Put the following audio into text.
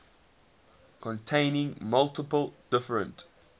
containing multiple different